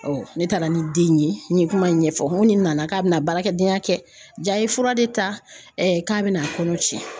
ne taara ni den in ye n ye kuma in ɲɛfɔ n ko nin nana k'a bɛna baarakɛdenya kɛ j'a ye fura de ta k'a bɛna a kɔnɔ cɛn.